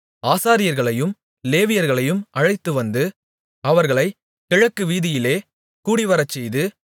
ஆசாரியர்களையும் லேவியர்களையும் அழைத்துவந்து அவர்களைக் கிழக்கு வீதியிலே கூடிவரச்செய்து